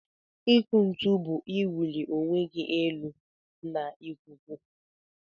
Ikụ ntu bu iwụli onwegi elu na ikuku.